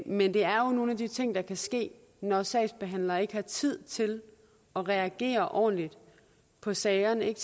men det er jo nogle af de ting der kan ske når sagsbehandlere ikke har tid til at reagere ordentligt på sagerne ikke